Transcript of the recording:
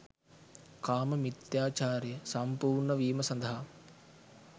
කාම මිථ්‍යාචාරය සම්පූර්ණ වීම සඳහා